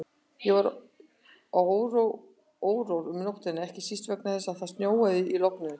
Ég var órór um nóttina, ekki síst vegna þess að það snjóaði í logninu.